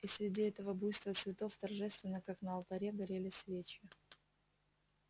и среди этого буйства цветов торжественно как на алтаре горели свечи